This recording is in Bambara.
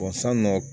san nɔ